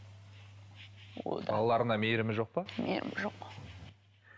балаларына мейірімі жоқ па мейірімі жоқ